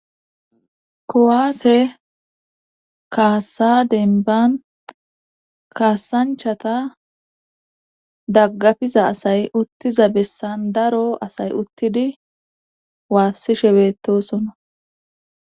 kowaase kaasa denban kaasanchata daggafiza asay uttiza bessan daro asay uttidi waassishe betosona